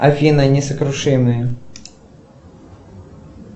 афина несокрушимые